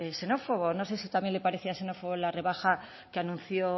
xenófobo no sé si también le parecía xenófobo la rebaja que anunció